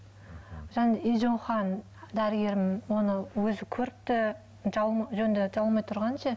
дәрігерім оны өзі көріпті жөнді жабылмай тұрғанын ше